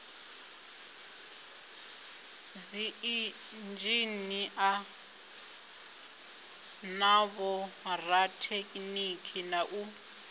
dziinzhinia na vhorathekhiniki na u